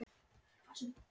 Hvað vill hann eiginlega?